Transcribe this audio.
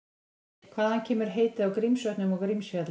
Hvaðan kemur heitið á Grímsvötnum og Grímsfjalli?